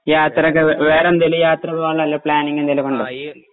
യാത്രയൊക്കെ വേ വേറെന്തേലും യാത്ര പോകാനുള്ള വല്ല പ്ലാനിങ് എന്തേലുമൊക്കെ യൊണ്ടോ?